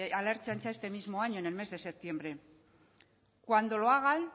a la ertzaintza este mismo año en el mes de septiembre cuando lo hagan